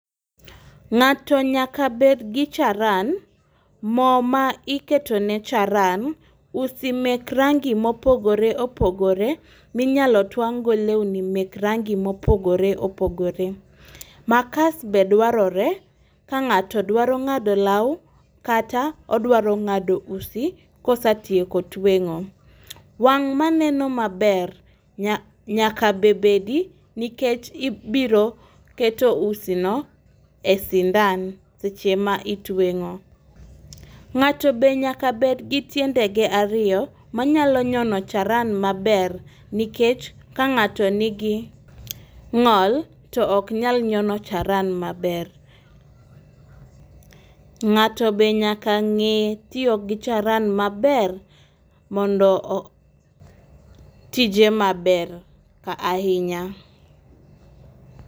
Ng'ato nyaka bed gi charan, moo ma iketo ne charan, usi mek rangi mopogore opogore minyalo twang' go lewni mek rangi mopogore opogore. Makas be dwarore ka ng'ato dwaro ng'ado law kata odwaro ng'ado usi kosatieko tweng'o. Wang' maneno maber nya nyaka be bedi nikech ibiro keto usi no e sindan seche ma itweng'o. Ng'ato be nyaka bed gi tiende ge ariyo manyalo nyono charan maber nikech ka ng'ato nigi ng'ol to ok nyal nyono charan maber. Ng'ato be nyaka ng'e tiyo gi charan maber mondo o tije maber ka ahinya.